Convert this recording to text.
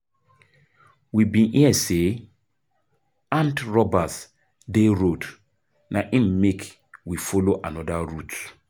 We bin hear sey armed robbers dey road na im make we folo anoda route.